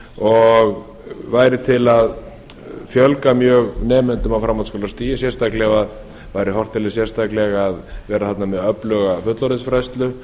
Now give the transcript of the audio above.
og væri til að fjölga mjög nemendum á framhaldsskólastigi ef væri horft til þess sérstaklega að vera þarna með öfluga fullorðinsfræðslu